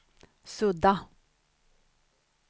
sudda